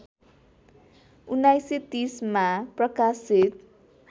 १९३० मा प्रकाशित